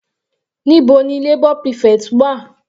Níbo ni labour prefect wà?